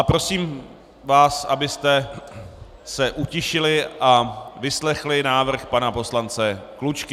A prosím vás, abyste se utišili a vyslechli návrh pana poslance Klučky.